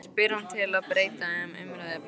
spyr hann til að breyta um umræðuefni.